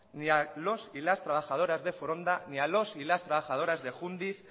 ni a los y las trabajadoras de foronda ni a los y las trabajadoras de jundiz